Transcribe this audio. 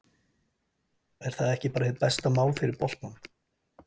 Er það ekki bara hið besta mál fyrir boltann?